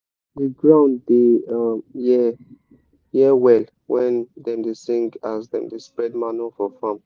the ground da um hear hear well when dem da sing as dem da spred manure for farm